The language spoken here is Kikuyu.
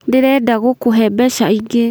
Ndĩrenda gũkũhe mbeca ingĩ